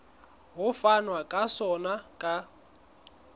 ho fanwa ka sona ka